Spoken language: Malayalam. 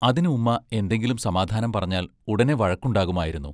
അതിന് ഉമ്മാ എന്തെങ്കിലും സമാധാനം പറഞ്ഞാൽ ഉടനെ വഴക്കുണ്ടാകുമായിരുന്നു.